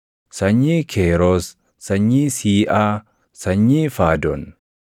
sanyii Keeroos, sanyii Siiʼaa, sanyii Faadon;